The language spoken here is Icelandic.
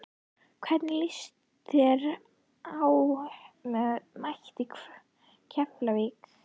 Hvernig lýst þér á að mæta Keflavík?